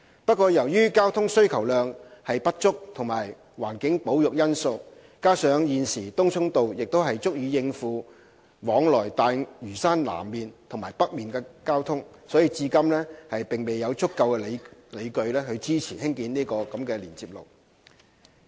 不過，由於交通需求量不足及環境保育因素，加上現時東涌道亦足以應付往來大嶼山南面和北面的交通，至今未有足夠理據支持興建該連接路。